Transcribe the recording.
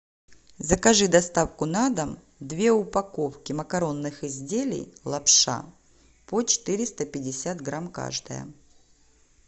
закажи доставку на дом две упаковки макаронных изделий лапша по четыреста пятьдесят грамм каждая